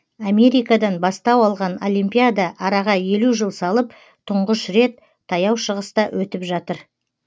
америкадан бастау алған олимпиада араға елу жыл салып тұңғыш рет таяу шығыста өтіп жатыр